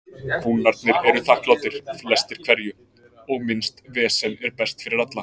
Kúnnarnir eru þakklátir, flestir hverjir, og minnst vesen er best fyrir alla.